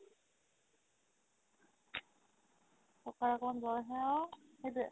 ককাৰ অকমাণ জ'ৰ আহে আৰু সেইটোয়ে